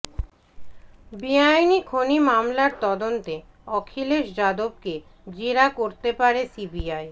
বেআইনি খনি মামলার তদন্তে অখিলেশ যাদবকে জেরা করতে পারে সিবিআই